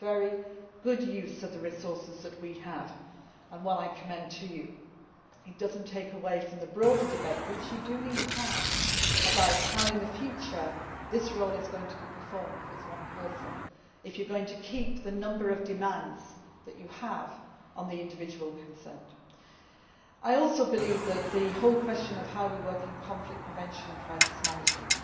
EU. It is a very good use of the resources that we have and one I commend to you. It does not take away from the broader debate which you do need to have about how in the future this role is going to be performed if it is one person and if you are going to keep the number of demands that you have on the individual concerned. I also believe that the whole question of how we work in conflict prevention and crisis management